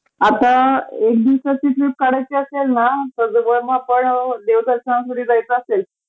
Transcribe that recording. आता एक दिवसाची जरी ट्रिप काढायची असेल ना तर जवळ मग आपण देवदर्शनापरी जायचं असेल